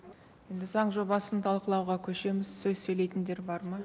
енді заң жобасын талқылауға көшеміз сөз сөйлейтіндер бар ма